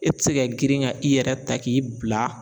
E tɛ se ka girin ka i yɛrɛ ta k'i bila